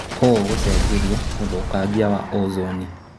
ũũ gũcenjirie ũthũkangia wa ozoni.